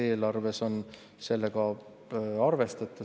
Kas eelarves on sellega arvestatud?